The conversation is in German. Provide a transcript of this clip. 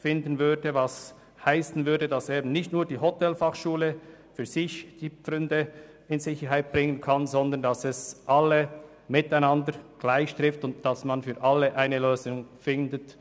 Das würde heissen, dass nicht nur die Hotelfachschule ihre Pfründe in Sicherheit bringen kann, sondern dass es alle gleich trifft und man für alle eine Lösung findet.